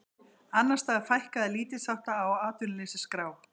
Annars staðar fækkaði lítilsháttar á atvinnuleysisskrá